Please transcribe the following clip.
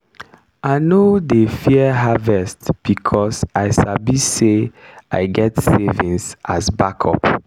i no dey fear harvest becos i sabi say i get savings as backup.